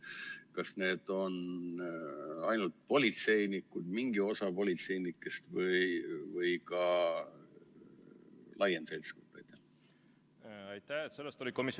Kas need on ainult politseinike, mingi osa politseinike või ka laiema seltskonna?